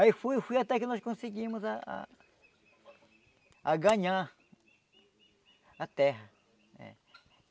Aí fui fui até que nós conseguimos ah ah a ganhar a terra. É